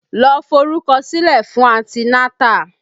Lọ forúkọ sílẹ̀ fún anti nátà!